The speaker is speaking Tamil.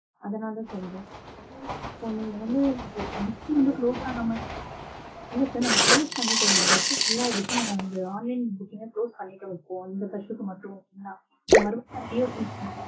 அதனால சொல்றோம். இப்போ நீங்க வந்து booking இன்னும் close ஆகாம, இல்ல sir நாங்க close பண்ணிட்டோம். bus ஊ full ஆயிடுச்சு. நாங்க அந்த online booking அ close பண்ணிட்டோம் இப்போ அந்த bus க்கு மட்டும் தான். இப்ப மறுபடியும் நாங்க re-open பண்ண